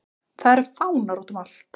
Það eru fánar útum allt.